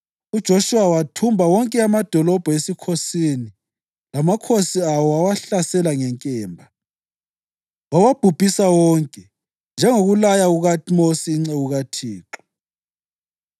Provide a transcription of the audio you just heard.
Kodwa amasimu lemizana okwakuseduzane ledolobho babekunike uKhalebi indodana kaJefune ukuba kube ngokwakhe.